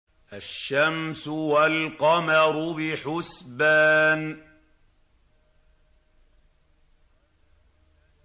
الشَّمْسُ وَالْقَمَرُ بِحُسْبَانٍ